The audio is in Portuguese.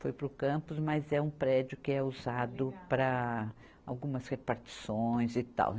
foi para o campus, mas é um prédio que é usado para algumas repartições e tal.